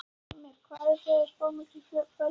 Heimir: Hvað eruð þið að spá mikilli fjölgun?